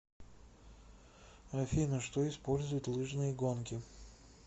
афина что использует лыжные гонки